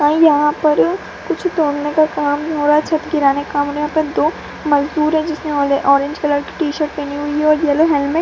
और यहाँ पर कुछ धोने का काम होंरा है यहाँ पे दो मजदुर है जिसने औले ऑरेंज कलर का टी-शर्ट पहनी हुई है और येलो हेलमेट --